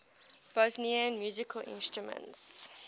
bosnian musical instruments